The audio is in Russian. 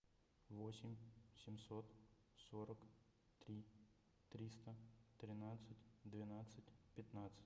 восемь семьсот сорок три триста тринадцать двенадцать пятнадцать